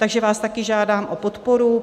Takže vás také žádám o podporu.